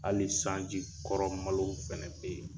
Hali sanji kɔrɔ malo fɛnɛ bɛ ye.